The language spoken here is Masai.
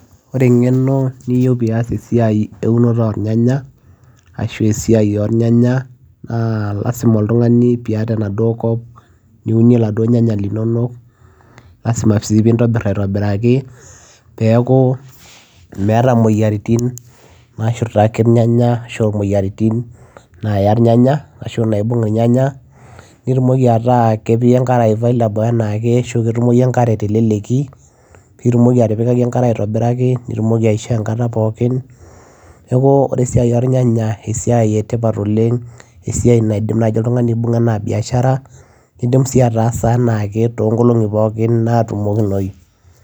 ore eng'eno niyieu pias esiai eunoto ornyanya ashu esiai ornyanya naa lasima oltung'ani piata enaduo kop niunie laduo nyanya linonok lasima sii pintobirr aitobiraki peeku meeta imoyiaritin nashurtaki irnyanya ashu imoyiaritin naya irnyanya ashu naibung irnyanya nitumoki ataa kepi enkare available anaake ashu ketumoyu enkare teleleki pitumoki atipikaki enkare aitobiraki nitumoki aishoo enkata pookin neku ore esiai ornyanya esiai etipat oleng esiai naidim naaji oltung'ani aibung'a anaa biashara nidim sii ataasa anaake tonkolong'i pookin natumokinoyu.